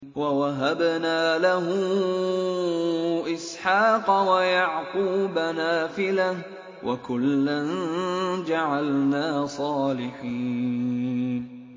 وَوَهَبْنَا لَهُ إِسْحَاقَ وَيَعْقُوبَ نَافِلَةً ۖ وَكُلًّا جَعَلْنَا صَالِحِينَ